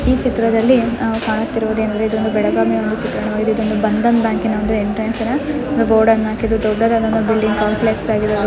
ಈ ಚಿತ್ರದಲ್ಲಿ ಅ ಕಾಣುತ್ತಿರುವುದೆನೆಂದರೆ ಬೆಳಗಾವಿಯ ಒಂದು ಚಿತ್ರವಾಗಿದೆ. ಇದೊಂದು ಬಂಧನ್ ಬ್ಯಾಂಕಿನ ಒಂದು ಎಂಟ್ರೆನ್ಸಿನ ಒಂದು ಬೋರ್ಡ್ ಅನ್ನ ಆಕಿದ್ದು ದೊಡ್ಡದಾದ ಒಂದು ಬಿಲ್ಡಿಂಗ್ ಕಾಂಪ್ಲೆಕ್ಸ್ ಆಗಿದೆ.